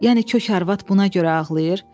Yəni kök arvad buna görə ağlayır?